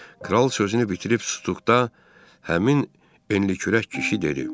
Kral sözünü bitirib stulda həmin enlikürək kişi dedi.